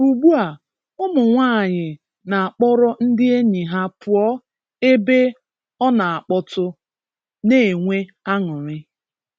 Ugbua, ụmụnwaanyị n'akpọrọ ndị enyi ha pụọ ebe ọ n'akpọtụ, n'enwe aṅụrị.